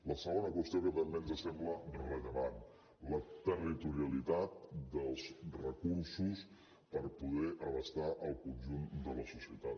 la segona qüestió que també ens sembla rellevant la territorialitat dels recursos per poder abastar el conjunt de la societat